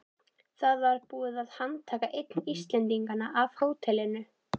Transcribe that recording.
Það var búið að handtaka einn Íslendinganna á hótelinu.